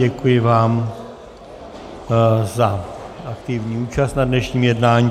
Děkuji vám za aktivní účast na dnešním jednání.